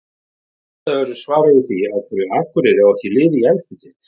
Leitað verður svara við því af hverju Akureyri á ekki lið í efstu deild.